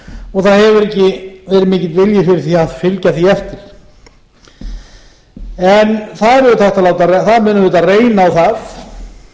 og það hefur ekki verið mikill vilji fyrir því að fylgja því eftir en það mun auðvitað reyna á það nú